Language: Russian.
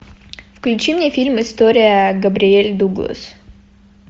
включи мне фильм история габриэль дуглас